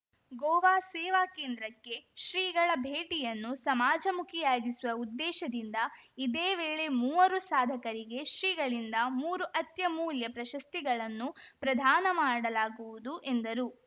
ಗೋವಾ ಸೇವಾ ಕೇಂದ್ರಕ್ಕೆ ಶ್ರೀಗಳ ಭೇಟಿಯನ್ನು ಸಮಾಜಮುಖಿಯಾಗಿಸುವ ಉದ್ದೇಶದಿಂದ ಇದೇ ವೇಳೆ ಮೂವರು ಸಾಧಕರಿಗೆ ಶ್ರೀಗಳಿಂದ ಮೂರು ಅತ್ಯಮೂಲ್ಯ ಪ್ರಶಸ್ತಿಗಳನ್ನು ಪ್ರದಾನ ಮಾಡಲಾಗುವುದು ಎಂದರು